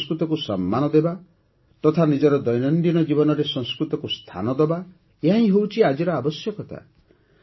ଆମେ ସଂସ୍କୃତକୁ ସମ୍ମାନ ଦେବା ତଥା ନିଜର ଦୈନନ୍ଦିନ ଜୀବନରେ ସଂସ୍କୃତକୁ ସ୍ଥାନ ଦେବା - ଏହାହିଁ ହେଉଛି ଆଜିର ଆବଶ୍ୟକତା